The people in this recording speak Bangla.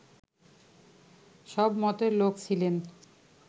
সব মতের লোক ছিলেন